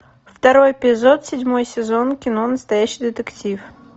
второй эпизод седьмой сезон кино настоящий детектив